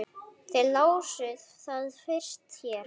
Þið lásuð það fyrst hér.